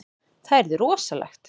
Það yrði rosalegt.